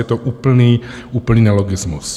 Je to úplný nelogismus.